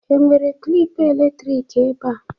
Ị nwere klịp elektrik ebea?